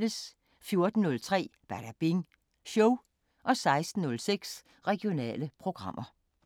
14:03: Badabing Show 16:06: Regionale programmer